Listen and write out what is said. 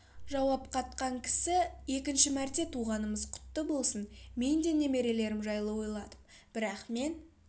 жауап қатқан кісі екінші мәрте туғанымыз құтты болсын мен де немерелерім жайлы ойладым бірақ мен